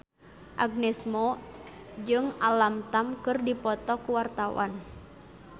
Agnes Mo jeung Alam Tam keur dipoto ku wartawan